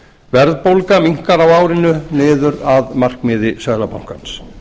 verðbólga minnkar á árinu niður að markmiði seðlabankans